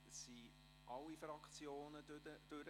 Damit haben wir die Fraktionen gehört.